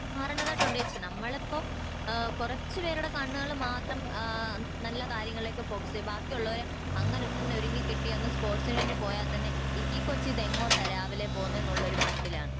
മാറണ്ടതായിട്ട് ഉണ്ട് ചേച്ചി നമ്മളിപ്പോ ഇഹ് കൊറച്ച് പേരുടെ കണ്ണുകളിൽ മാത്രം ആഹ് നല്ല കാര്യങ്ങളിലേക്ക് ഫോക്കസ് ചെയ്യെ ബാക്കി ഉള്ളവരെ അങ്ങിനെ തന്നെ ഒരുങ്ങിക്കെട്ടി ഒന്ന് സ്പോർട്സിന് വേണ്ടി പോയാ തന്നെ ഈ കോച്ച് ഇതെങ്ങോട്ടാ രാവിലെ പോകുന്നെ എന്നുള്ള ഒരു മട്ടിലാണ്